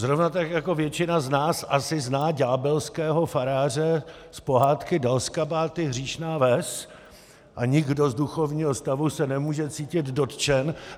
Zrovna tak jako většina z nás asi zná ďábelského faráře z pohádky Dalskabáty, hříšná ves a nikdo z duchovního stavu se nemůže cítit dotčen.